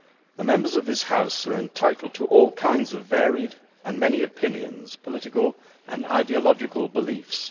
The Members of this House are entitled to all kinds of varied and many opinions, political and ideological beliefs.